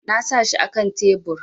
Na sa shi akan tebur